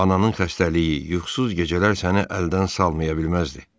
Ananın xəstəliyi, yuxusuz gecələr səni əldən salmaya bilməzdi.